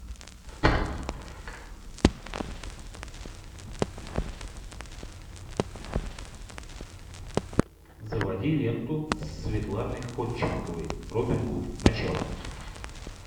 заводи ленту со светланой ходченковой робин гуд начало